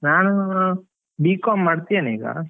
ನಾನು, B.com ಮಾಡ್ತಿದೇನೆ ಈಗ.